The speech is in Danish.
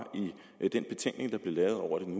i den betænkning der blev lavet over den